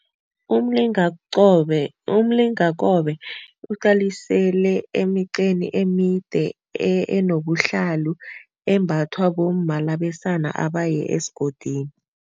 Umlingakobe uqalisele emiqeni emide enobuhlalu embathwa bomma labesana abaye esigodini.